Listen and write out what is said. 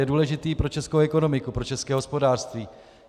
Je důležitý pro českou ekonomiku, pro české hospodářství.